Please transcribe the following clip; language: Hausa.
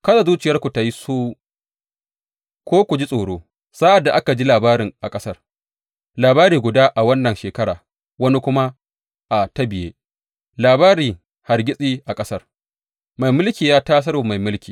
Kada zuciyarku tă yi suwu ko ku ji tsoro sa’ad da aka ji labarin a ƙasar, labari guda a wannan shekara, wani kuma a ta biye, labarin hargitsi a ƙasar mai mulki ya tasar wa mai mulki.